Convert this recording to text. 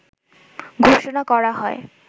ঘোষণা করা হয়